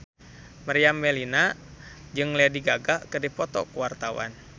Meriam Bellina jeung Lady Gaga keur dipoto ku wartawan